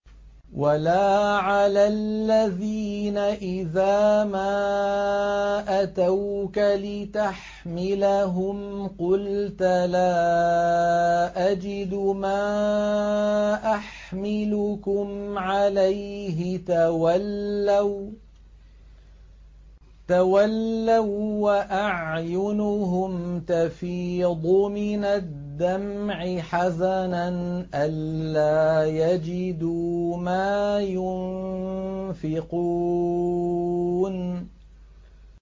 وَلَا عَلَى الَّذِينَ إِذَا مَا أَتَوْكَ لِتَحْمِلَهُمْ قُلْتَ لَا أَجِدُ مَا أَحْمِلُكُمْ عَلَيْهِ تَوَلَّوا وَّأَعْيُنُهُمْ تَفِيضُ مِنَ الدَّمْعِ حَزَنًا أَلَّا يَجِدُوا مَا يُنفِقُونَ